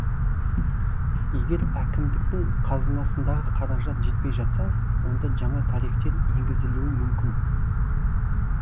егер әкімдіктің қазынасындағы қаражат жетпей жатса онда жаңа тарифтер енгізілуі мүмкін